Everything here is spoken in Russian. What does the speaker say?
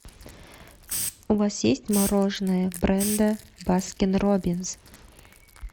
у вас есть мороженое бренда баскин робинс